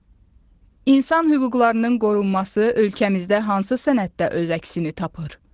İnsan hüquqlarının qorunması ölkəmizdə hansı sənəddə öz əksini tapır?